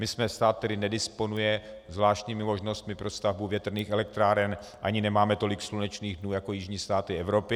My jsme stát, který nedisponuje zvláštními možnostmi pro stavbu větrných elektráren ani nemáme tolik slunečných dnů jako jižní státy Evropy.